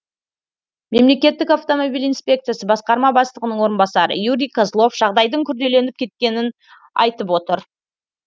мемлекеттік автомобиль инспекциясы басқарма бастығының орынбасары юрий козлов жағдайдың күрделеніп кеткенін айтып отыр